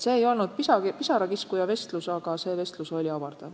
See ei olnud pisarakiskuja vestlus, see oli silmi avav vestlus.